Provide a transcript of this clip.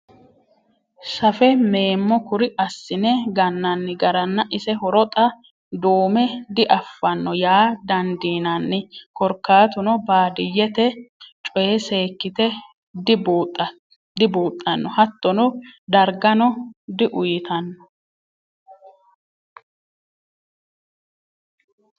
Safe meemmo kuri assine gananni garanna ise horo xa dume diafano yaa dandiinanni korkaatuno baadiyyete coye seekkite dibuuxano hattono dargano diuyittano.